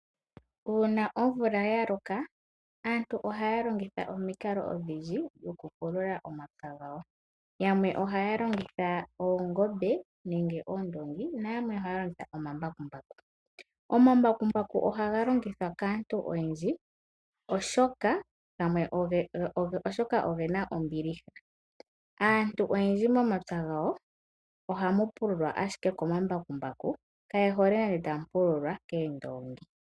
Uuna omvula ya loka aantu ohaya longitha omikalo odhindji oku pulula omapya gawo. Yamwe ohaya longitha oongobe nenge oondongi na yamwe ohaya longitha omambakumbaku. Omambakumbaku ohaga longithwa kaantu oyendji oshoka ogena ombiliha, aantu oyendji momapya gawo ohamu pululwa ashike komambakumbaku kaye hole nande tamu pululwa koondongi.